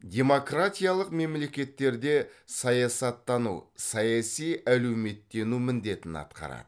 демократиялық мемлекеттерде саясаттану саяси әлеуметтену міндетін атқарады